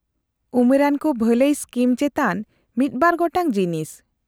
-ᱩᱢᱮᱨᱟᱱ ᱠᱚ ᱵᱷᱟᱹᱞᱟᱹᱭ ᱥᱠᱤᱢ ᱪᱮᱛᱟᱱ ᱢᱤᱫ ᱵᱟᱨ ᱜᱚᱴᱟᱝ ᱡᱤᱱᱤᱥ ᱾